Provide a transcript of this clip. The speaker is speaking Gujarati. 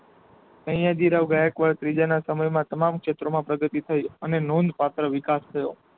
સયાજી રાવ ગાયકવાડ ત્રીજાના સમય માં તમામ શેત્રમાં પ્રગતિ થઇ અને નોંધ પાત્ર વિકાશ થયો.